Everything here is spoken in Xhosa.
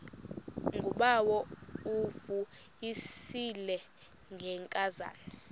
ngubawo uvuyisile ngenkazana